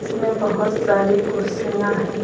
इसमें बहुत सारी कुर्सियां हैं।